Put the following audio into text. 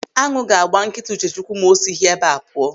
Añụ ga-agba nkịta Uchechukwu ma o sighị ebe a pụọ.